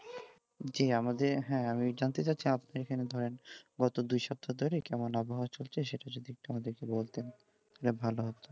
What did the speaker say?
জী আমাদের হ্যাঁ আমি জানতে চাচ্ছি যে আপনি এখানে ধরেন গত দুই সপ্তাহ ধরে কেমন আবহাওয়া চলছে সেটা যদি একটু আমাদেরকে বলতেন তাহলে ভালো হতো।